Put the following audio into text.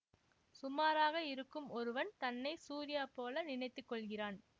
சுமாராக இருக்கும் ஒருவன் தன்னை சூர்யா போல நினைத்து கொள்கிறான்